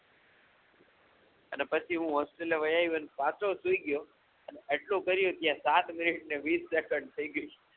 અને પછી હું હોસ્ટેલ વયયાઓ અને પાછો સૂઈ ગ્યો આટલું કર્યું ત્યાં સાતમિનિટ ને વીશ સેકંડ થઈ ગય